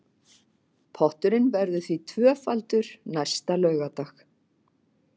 Potturinn verður því tvöfaldur næsta laugardag